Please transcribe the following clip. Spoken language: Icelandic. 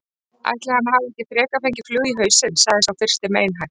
Ætli hann hafi ekki frekar fengið flugu í hausinn sagði sá fyrsti meinhægt.